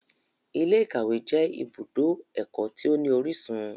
Ilé-ìkawe jẹ ìbùdó ẹkọ tí o ní orísun.